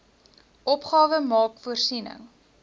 opgawe maak voorsiening